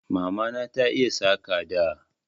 Mamana ta iya Saƙa da